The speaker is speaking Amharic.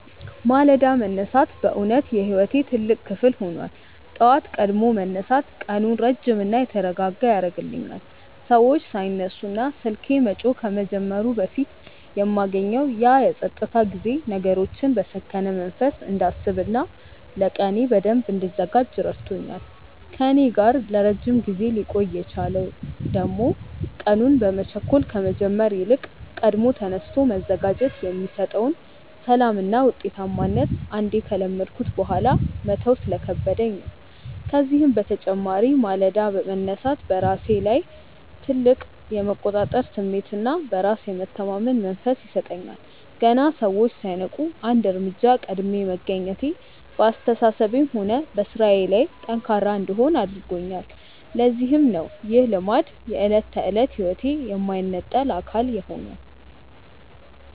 ማለዳ መነሳት በእውነት የሕይወቴ ትልቅ ክፍል ሆኗል። ጠዋት ቀድሞ መነሳት ቀኑን ረጅምና የተረጋጋ ያደርግልኛል፤ ሰዎች ሳይነሱና ስልኬ መጮህ ከመጀመሩ በፊት የማገኘው ያ የፀጥታ ጊዜ ነገሮችን በሰከነ መንፈስ እንዳስብና ለቀኔ በደንብ እንድዘጋጅ ረድቶኛል። ከእኔ ጋር ለረጅም ጊዜ ሊቆይ የቻለው ደግሞ ቀኑን በመቸኮል ከመጀመር ይልቅ ቀድሞ ተነስቶ መዘጋጀት የሚሰጠውን ሰላምና ውጤታማነት አንዴ ከለመድኩት በኋላ መተው ስለከበደኝ ነው። ከዚህም በተጨማሪ ማለዳ መነሳት በራሴ ላይ ትልቅ የመቆጣጠር ስሜትና በራስ የመተማመን መንፈስ ይሰጠኛል። ገና ሰዎች ሳይነቁ አንድ እርምጃ ቀድሜ መገኘቴ በአስተሳሰቤም ሆነ በሥራዬ ላይ ጠንካራ እንድሆን አድርጎኛል፤ ለዚህም ነው ይህ ልማድ የዕለት ተዕለት ሕይወቴ የማይነጠል አካል የሆነው።